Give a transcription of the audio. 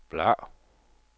bladr